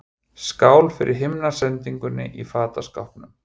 Skál fyrir himnasendingunni í fataskápnum!